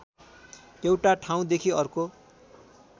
एउटा ठाउँदेखि अर्को